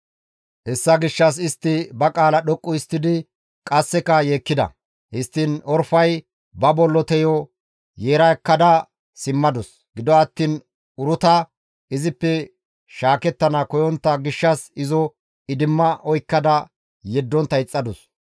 Hessa gishshas istti ba qaala dhoqqu histtidi qasseka yeekkida. Histtiin Orfay ba bolloteyo yeera ekkada simmadus. Gido attiin Uruta izippe shaakettana koyontta gishshas izo idimma oykkada yeddontta ixxadus.